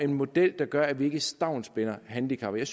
en model der gør at vi ikke stavnsbinder handicappede